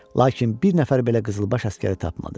Lakin bir nəfər belə qızılbaş əsgəri tapmadı.